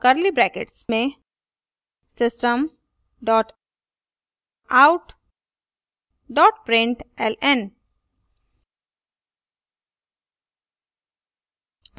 curly brackets में system dot out dot println